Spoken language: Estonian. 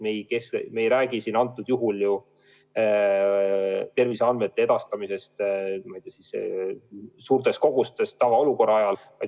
Me ei räägi praegu ju terviseandmete edastamisest suurtes kogustes tavaolukorra ajal.